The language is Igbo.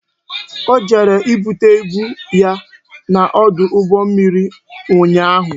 O jere ibute ibu ya n'ọdụ ụgbọ mmiri ụnyaahụ